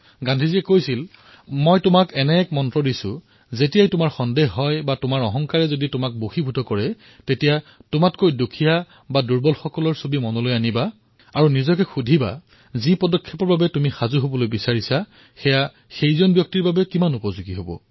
তাত গান্ধীজীয়ে কৈছিল মই আপোনালোকক এটা মন্ত্ৰ দিছোঁ যেতিয়াই আপোনালোকৰ নিজৰ ওপৰত সন্দেহ হব অথবা নিজৰ ওপৰত অহংকাৰ হব তেতিয়া এই কথাফাঁকি লাগু কৰিব যি সকলোতকৈ অধিক দুখীয়া আৰু দুৰ্বল মানুহ আপুনি দেখিছে তেওঁৰ মুখখন মনত পেলাও আৰু নিজৰ হৃদয়ক সোধক যে যি পদক্ষেপ আপুনি গ্ৰহণ কৰিবলৈ ওলাইছে সেয়া সেই মানুহজনৰ বাবে কিমান উপযোগী